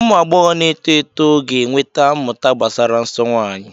Ụmụ agbọghọ na-eto eto ga-enweta mmụta gbasara nsọ nwanyị.